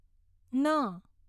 ન